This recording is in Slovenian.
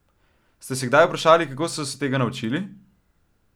Ste se kdaj vprašali, kako so se tega naučili?